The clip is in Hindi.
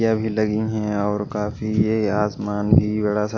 यह अभी लगी है और काफी ये आसमान भी बड़ा सा--